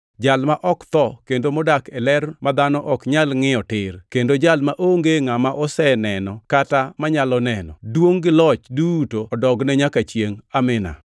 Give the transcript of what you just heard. Jal ma ok tho kendo modak e ler ma dhano ok nyal ngʼiyo tir; kendo Jal maonge ngʼama oseneno kata manyalo neno. Duongʼ gi loch duto odogne nyaka chiengʼ. Amin.